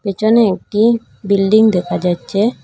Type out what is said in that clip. পিছনে একটি বিল্ডিং দেখা যাচ্ছে।